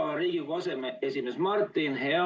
Hea Riigikogu aseesimees Martin!